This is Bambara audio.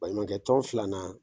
Baɲumankɛ tɔn filanan.